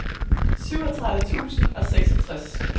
syvogtredive tusind og seksogtres